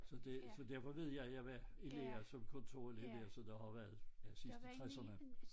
Så det så derfor ved jeg jeg var i lære som kontorelev der så det var vel ja sidst i 60'erne